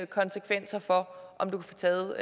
konsekvenser for om du kan få taget